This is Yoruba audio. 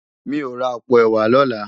Mi ó rá àpó èwá lòlá